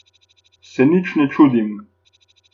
Se nič ne čudim.